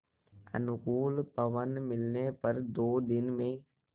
अनुकूल पवन मिलने पर दो दिन में